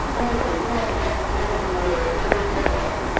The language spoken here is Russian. жду жду от вас новых новой информации